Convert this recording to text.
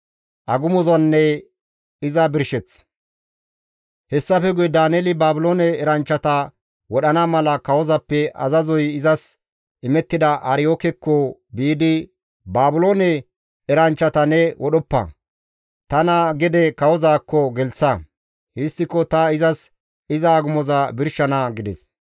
Hessafe guye Daaneeli Baabiloone eranchchata wodhana mala kawozappe azazoy izas imettida Aryookekko biidi, «Baabiloone eranchchata ne wodhoppa; tana gede kawozaakko gelththa; histtiko ta izas iza agumoza birshana» gides.